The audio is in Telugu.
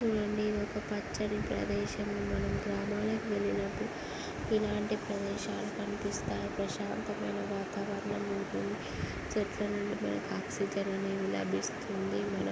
చూడండి ఒక పచ్చని ప్రదేశం. మనం గ్రామాలకు వెళ్ళినపుడు ఇలాంటి ప్రదేశాలు కనిపిస్తాయి. ప్రశాంతమైన వాతావరణం ఉంటుంది. చెట్ల నుండి మనకి ఆక్సిజన్ అనేది లభిస్తుంది.--